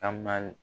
Taama